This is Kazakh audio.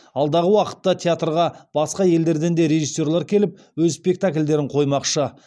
алдағы уақытта театрға басқа елдерден де режиссерлар келіп өз спектакльдерін қоймақшы